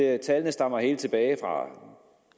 at tallene stammer helt tilbage fra to